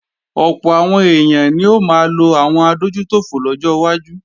Ọ̀pọ̀ àwọn èèyàn ni ó máa lo àwọn adójútòfò lọ́jọ́ wájú